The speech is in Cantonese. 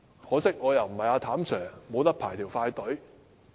可惜，我不是"譚 Sir"， 不能排"快隊"。